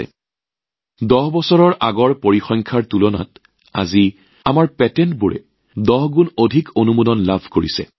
যদি ১০ বছৰৰ আগৰ পৰিসংখ্যাৰ সৈতে তুলনা কৰা হয় আজি আমাৰ পেটেণ্টে ১০ গুণ বেছি অনুমোদন লাভ কৰিছে